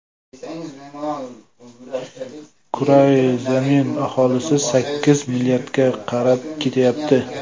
Kurrai zamin aholisi sakkiz milliardga qarab ketyapti.